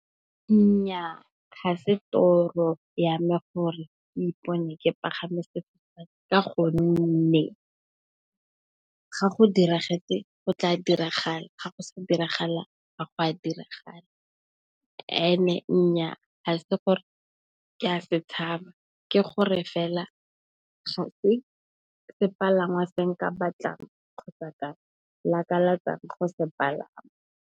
Nnyaa ga se toro ya me gore ke ipone ke pagame sefofane ka gonne, ga go diragetse go tla diragala, ga go sa diragala ga go a diragala. Nnyaa ga se gore ke a se tshaba ke gore fela ga se sepalangwa se nka batlang kgotsa ka lakatsa go sepalama.